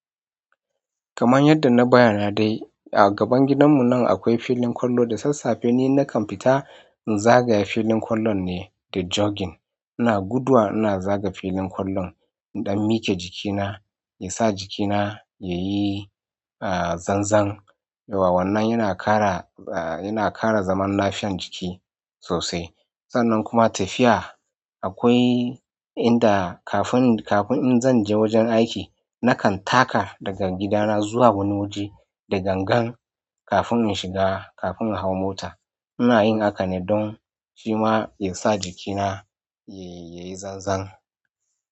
Kamar yadda na bayyana dai a gaban gidanmu nan akwai filin ƙwallo da sassafe ni nakan fita in zagaya filin ƙwallon ne da jogging. Ina guduwa ina zaga filin ƙwallon don miƙe jikina ya sa jikina yayi, aah zanzan. Da wannan yana ƙara, aah yana ƙara zaman lafiyan jiki sosai. Sannan kuma tafiya akwai inda kafin, kafin in zan je wajen aiki nakan taka daga gidana zuwa wani waje da gangan kafin in shiga, kafin in hau mota. Ina yin haka ne don shi ma ya sa jikina yayi, yayi zanzan.